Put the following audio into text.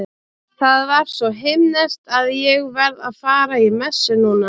Það var svo himneskt að ég verð að fara í messu núna.